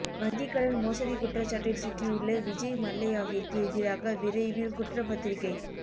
வங்கிக் கடன் மோசடி குற்றச்சாட்டில் சிக்கியுள்ள விஜய் மல்லையாவிற்கு எதிராக விவரைவில் குற்றப்பத்திரிகை